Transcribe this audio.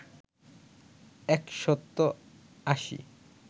একশত আশী